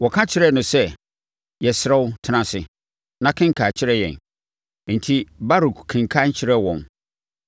Wɔka kyerɛɛ no sɛ, “Yɛsrɛ wo tena ase, na kenkan kyerɛ yɛn.” Enti Baruk kenkan kyerɛɛ wɔn.